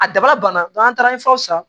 A daba banna n'an taara san